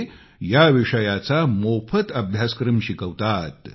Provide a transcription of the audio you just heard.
ते या विषयाचा मोफत अभ्यासक्रम शिकवतात